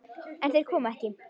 En þeir koma ekki.